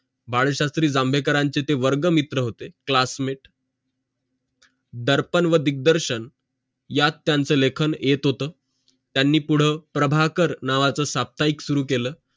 बाळशास्त्री जांभेकरांचे ते वर्ग मित्र होते classmate दर्पण व दिग्दर्शन यात त्यांचं लेख येत होत त्यांनी पूड प्रभाकर नावाचं साप्ताहिक सुरु केलं